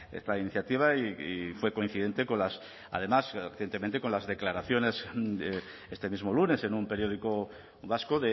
esta iniciativa y fue coincidente con las además recientemente con las declaraciones de este mismo lunes en un periódico vasco